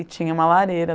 E tinha uma lareira.